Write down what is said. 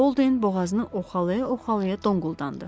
Bolde boğazını oxalaya-oxalaya donquldandı.